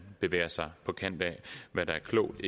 bevæger sig på kanten af hvad der er klogt